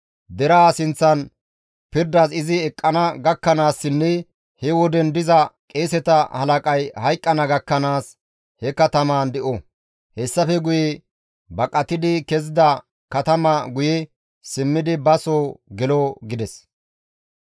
Deraa sinththan pirdas izi eqqana gakkanaassinne he woden diza qeeseta halaqay hayqqana gakkanaas he katamaan de7o. Hessafe guye baqatidi kezida katama guye simmidi ba soo gelo» gides.